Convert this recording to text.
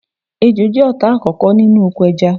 Ejò jẹ́ ọ̀tá àkókò nínú oko ẹja